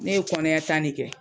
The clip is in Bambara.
Ne ye kɔniya tan de kɛ.